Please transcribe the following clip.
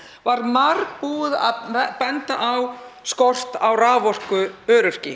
var margoft búið að benda á skort á raforkuöryggi